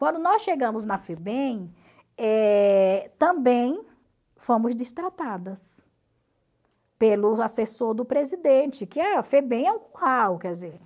Quando nós chegamos na Febem, eh também fomos destratadas, pelo assessor do presidente, que a Febem é quer dizer,